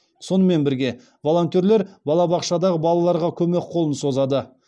сонымен бірге волонтерлер балабақшадағы балаларға көмек қолын созады